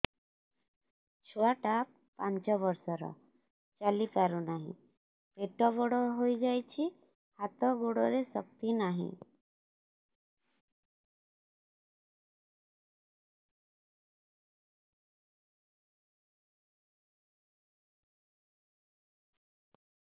ଛୁଆଟା ପାଞ୍ଚ ବର୍ଷର ଚାଲି ପାରୁ ନାହି ପେଟ ବଡ଼ ହୋଇ ଯାଇଛି ହାତ ଗୋଡ଼ରେ ଶକ୍ତି ନାହିଁ